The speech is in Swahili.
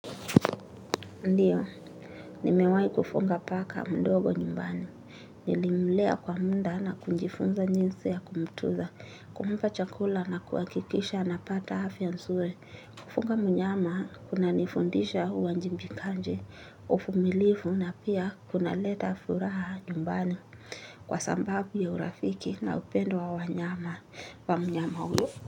Ndiyo, nimewahi kufuga paka mdogo nyumbani. Nilimlea kwa muda na kujifunza jinsi ya kumtuza, kumpa chakula na kuhakikisha napata afya nzuri. Kufuga mnyama, kunanifundisha uwajibikaji, uvumilivu na pia kunaleta furaha nyumbani. Kwa sababu ya urafiki na upendo wa wanyama wa mnyama huyo.